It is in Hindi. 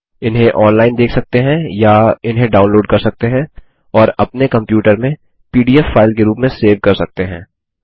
इन्हें ऑनलाइन देख सकते हैं या इन्हें डाउनलोड कर सकते हैं और अपने कम्प्यूटर में पीडीएफ फाइल के रूप में सेव कर सकते हैं